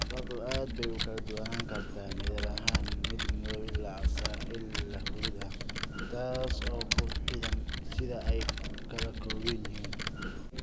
Carradu aad bay u kala duwanaan kartaa midab ahaan, min madow ilaa casaan ilaa huruud ah, taas oo ku xidhan sida ay ka kooban yihiin.